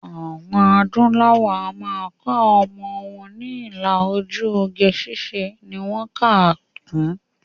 Àwọn adúláwò a máa kọ́ ọmọ ni ilà ojú, oge ṣíṣe ni wọ́n kà á kún